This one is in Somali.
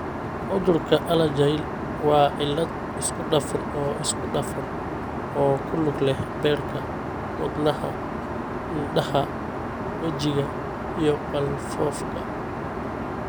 Cudurka Alagille waa cillad isku dhafan oo isku dhafan oo ku lug leh beerka, wadnaha, indhaha, wejiga, iyo qalfoofka.